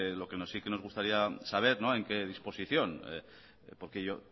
lo que sí nos gustaría saber no en qué disposición porque